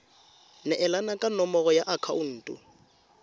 neelana ka nomoro ya akhaonto